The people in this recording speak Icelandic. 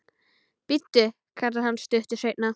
Bíddu, kallar hann stuttu seinna.